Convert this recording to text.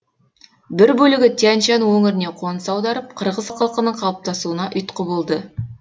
бір бөлігі тянь шань өңіріне қоныс аударып қырғыз халқының қалыптасуына ұйтқы болды